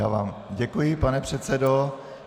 Já vám děkuji, pane předsedo.